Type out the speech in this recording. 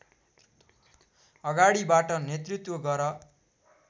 अगाडिबाट नेतृत्व गर